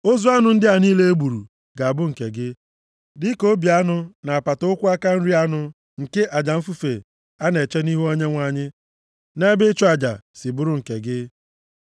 Ozu anụ ndị a niile e gburu ga-abụ nke gị, dịka obi anụ na apata ụkwụ aka nri anụ nke aja mfufe a na-eche nʼihu Onyenwe anyị nʼebe ịchụ aja si bụrụ nke gị.